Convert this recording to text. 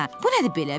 Bu nədir belə?